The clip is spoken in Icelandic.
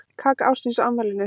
Kaka ársins á afmælinu